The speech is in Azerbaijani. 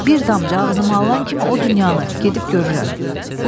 Bir damcı ağzıma alan kimi o dünyanı gedib görürəm.